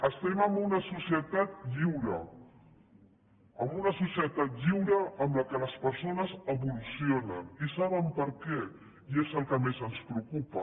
estem en una societat lliure en una societat lliure en què les persones evolucionen i saben per què i és el que més ens preocupa